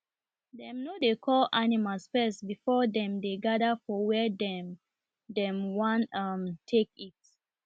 dem no dey call animals first before dem dey gather for where dem dem wan um take eat